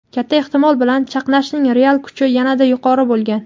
katta ehtimol bilan chaqnashning real kuchi yanada yuqori bo‘lgan.